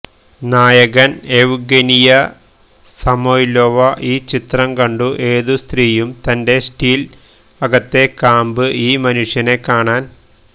നായകൻ Evgenia Samoylova ഈ ചിത്രം കണ്ടു ഏതു സ്ത്രീയും തന്റെ സ്റ്റീൽ അകത്തെ കാമ്പ് ഈ മനുഷ്യനെ കാണാൻ